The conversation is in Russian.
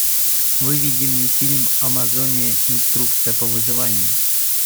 выведи мне фильм амазония инструкция по выживанию